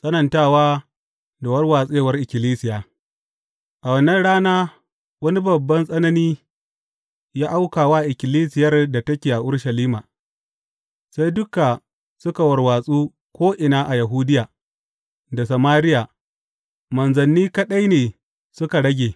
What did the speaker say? Tsanantawa da warwatsewar ikkilisiya A wannan rana wani babban tsanani ya auka wa ikkilisiyar da take a Urushalima, sai duka suka warwatsu ko’ina a Yahudiya da Samariya, manzanni kaɗai ne suka rage.